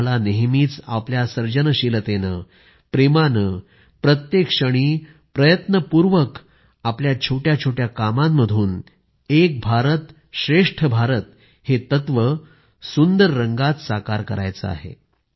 आम्हाला नेहमीच आपल्या सर्जनशीलतेने प्रेमाने प्रत्येक क्षणी प्रयत्नपूर्वक आपल्या छोट्या छोट्या कामांमधून एक भारत श्रेष्ठ भारत हे तत्व सुंदर रंगात साकार करायचे आहे